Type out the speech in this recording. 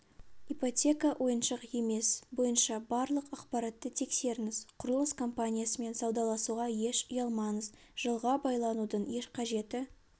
ипотека ойыншық емес бойынша барлық ақпаратты тексеріңіз құрылыс компаниясымен саудаласуға еш ұялмаңыз жылға байланудың еш қажеті